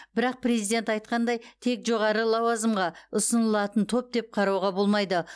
бірақ президент айтқандай тек жоғары лауазымға ұсынылатын топ деп қарауға болмайды